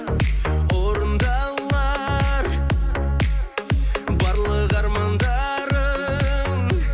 орындалар барлық армандарым